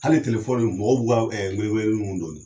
Hali telefɔni, mɔgɔw bɛ ka wele weleli min don